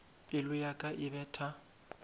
pelo ya ka e betha